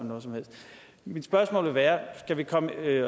noget som helst mit spørgsmål vil være